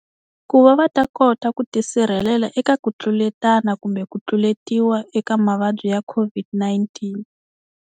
Ku va va ta kota ku tisirhelela eka ku tluletana kumbe ku tluletiwa eka mavabyi ya COVID-19.